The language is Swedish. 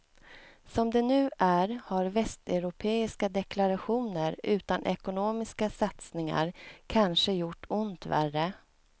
Som det nu är har västeuropeiska deklarationer utan ekonomiska satsningar kanske gjort ont värre.